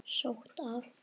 Sótt af